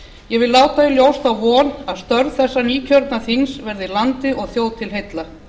ég vil láta í ljós þá von að störf þessa nýkjörna þings verði landi og þjóð til heilla